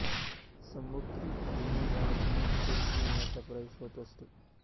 संभोग क्रियेत योनिद्वारतूनच पुरूष लिंगाचा प्रवेश होत असतो